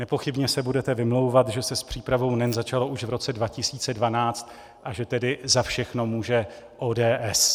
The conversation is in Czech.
Nepochybně se budete vymlouvat, že se s přípravou NEN začalo už v roce 2012 a že tedy za všechno může ODS.